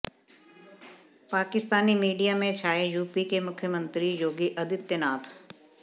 Pakistani media में छाए UP के मुख्यमंत्री योगी आदित्यनाथ